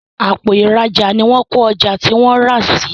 Àpò ìrajà ní wón ko ọjà tí wón rà sí